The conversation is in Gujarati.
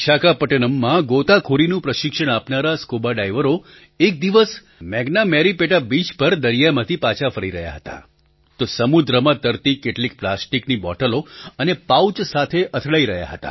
વિશાખાપટ્ટનમમાં ગોતાખોરીનું પ્રશિક્ષણ આપનારા સ્કુબાડાઇવરો એક દિવસ મેન્ગામેરિપેટા બીચ પર દરિયામાંથી પાછા ફરી રહ્યા હતા તો સમુદ્રમાં તરતી કેટલીક પ્લાસ્ટિકની બૉટલો અને પાઉચ સાથે અથડાઈ રહ્યા હતા